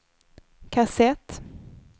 kassett